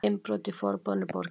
Innbrot í Forboðnu borgina